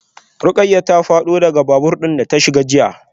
Rukayyah ta fado daga babur din da ta shiga jiya.